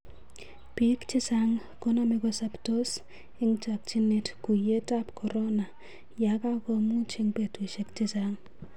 Pik chechang koname kosaptos en chakinet kuyiet ap Corona yakangomuch en petushek chechaang.